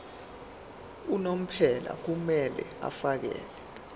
unomphela kumele afakele